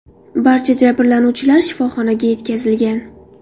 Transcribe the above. Barcha jabrlanuvchilar shifoxonaga yetkazilgan.